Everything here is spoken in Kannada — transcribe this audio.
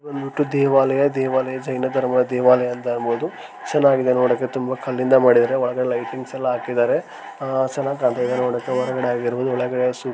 ಬಂದ್ಬಿಟ್ಟು ದೇವಾಲಯ ದೇವಾಲಯ ಜೈನ ಧರ್ಮ ದೇವಾಲಯ ಅಂತ ಹೇಳಬಹುದು. ಚೆನ್ನಾಗಿದೆ ನೋಡಕೆ ತುಂಬಾ ಕಲ್ಲಿಂದ ಮಾಡಿದ್ದಾರೆ ಒಳಗೆ ಲೈಟಿಂಗ್ಸ್ ಎಲ್ಲ ಹಾಕಿದಾರೆ. ಆ ಚೆನ್ನಾಗಿ ಕಾಣತಾಯಿದೆ ನೋಡಕೆ ಹೊರಗಡೆ ಆಗಿರ್ಬಹುದು ಒಳಗೆ ಸೂಪ್ಪರ್ --